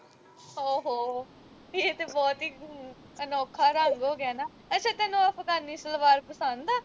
ਹੋ ਹੋ ਏਹ ਤੇ ਬਹੁਤ ਹੀ ਅਨੋਖਾ ਰੰਗ ਹੋ ਗਿਆ ਨਾ ਅੱਛਾ ਤੈਨੂੰ ਉਹ ਅਫਗਾਨੀ ਸਲਵਾਰ ਪਸੰਦ ਆ